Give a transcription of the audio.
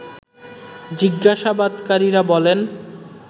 জিজ্ঞাসাবাদকারীরা বলেন